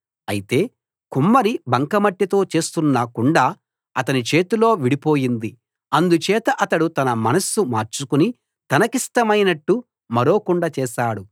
అయితే కుమ్మరి బంకమట్టితో చేస్తున్న కుండ అతని చేతిలో విడిపోయింది అందుచేత అతడు తన మనస్సు మార్చుకుని తనకిష్టమైనట్టు మరో కుండ చేశాడు